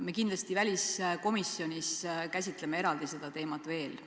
Me kindlasti väliskomisjonis käsitleme seda teemat veel eraldi.